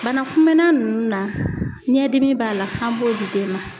Bana kunmɛnna ninnu na ɲɛdimi b'a la an b'o di den ma.